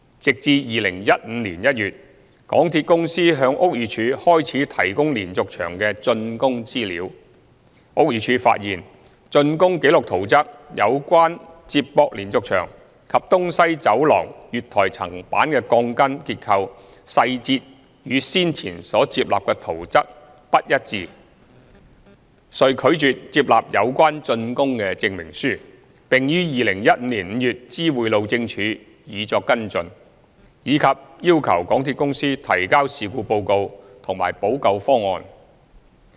直至2015年1月，港鐵公司向屋宇署開始提供連續牆的竣工資料，屋宇署才發現竣工記錄圖則有關接駁連續牆及東西走廊月台層板的鋼筋結構細節，與先前所接納的圖則不一致，遂拒絕接納有關竣工證明書，並於2015年5月知會路政署以作跟進，以及要求港鐵公司提交事故報告和補救方案。